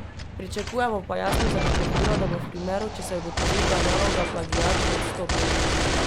Pričakujemo pa jasno zagotovilo, da bo v primeru, če se ugotovi, da je naloga plagiat, odstopila.